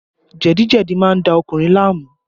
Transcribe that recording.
Jẹ̀díjẹ̀dí má ń da ọkùnrin láàmú